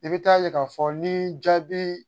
I bɛ taa ye k'a fɔ ni jaabi